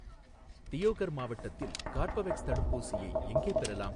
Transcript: தியோகர் மாவட்டத்தில் கார்பவேக்ஸ் தடுப்பூசியை எங்கே பெறலாம்?